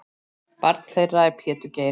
Barn þeirra er Pétur Geir.